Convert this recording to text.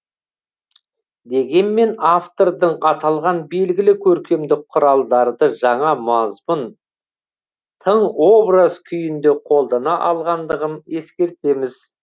дегенмен автордың аталған белгілі көркемдік құралдарды жаңа мазмұн тың образ күйінде қолдана алғандығын ескертеміз